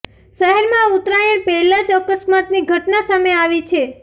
શહેરમાં ઉત્તરાયણ પહેલા જ અકસ્માતની ઘટના સામે આવી છે